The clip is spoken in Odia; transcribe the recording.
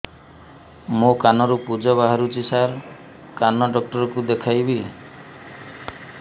ମୋ କାନରୁ ପୁଜ ବାହାରୁଛି ସାର କାନ ଡକ୍ଟର କୁ ଦେଖାଇବି